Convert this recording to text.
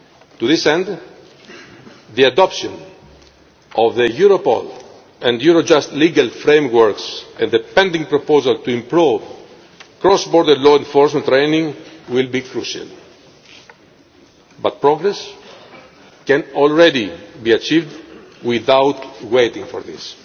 To that end, the adoption of the Europol and Eurojust legal frameworks and the pending proposal to improve cross border law enforcement training will be crucial, but progress can already be achieved without waiting for